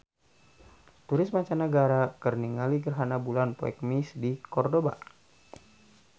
Turis mancanagara keur ningali gerhana bulan poe Kemis di Kordoba